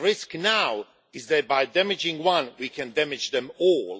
The risk now is that by damaging one we can damage them all.